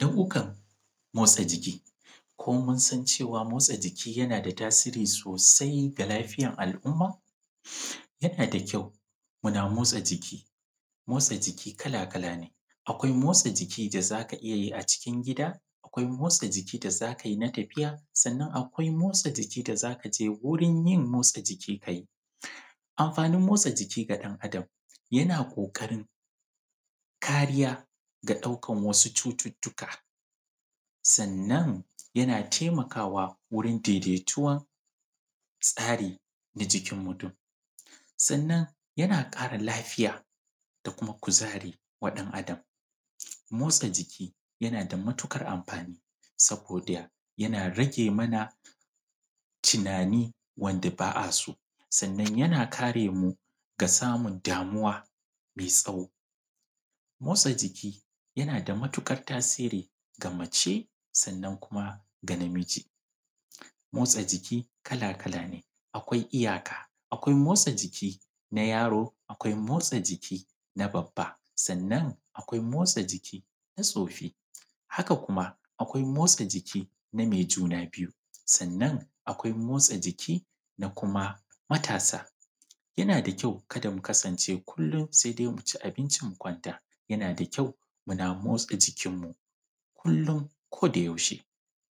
Nau'ukan motsa jiki. Ko mun san cewa motsa jiki yana da tasiri sosai ga lafiyar al'umma? Yana da kyau muna motsa jiki. Motsa jiki kala-kala ne, akwai motsa jiki da za ka iya yi a cikin gida; akwai motsa jiki da za ka iya yi na tafiya; sannan akwai motsa jiki da za ka je wurin yin motsa jiki ka yi. Amfanin motsa jiki ga ɗan'adam yana ƙoƙarin kariya ga ɗaukan wasu cututtuka, sannan ya taimakawa wurin daidaituwan tsarin na jikin mutum. Sannan yana ƙara lafiya, da kuma kuzari wa ɗana’adam. Motsa jiki yana da matuƙar amfani, saboda yana rage mana tunani wanda ba a so, sannan yana kare mu ga samun damuwa mai tsawo. Motsa jiki yana da matuƙar tasiri ga mace, sannan kuma ga namiji, motsa jiki kala-kala ne, akwai iyaka. Akwai motsa jiki na yaro; akwai motsa jiki na babba; sannan akwai motsa jiki na tsoffi; haka kuma akwai motsa jiki na mai juna biyu; sannan akwai motsa jiki na kuma matasa. Yana da kyau kada ku kasance kullum sai dai ku ci abinci ku kwanta, yana da kyau muna motsa jikinmu, kullum kodayaushe